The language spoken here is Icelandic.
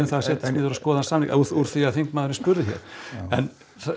setjast niður og skoða samninginn úr því að þingmaðurinn spurði hér en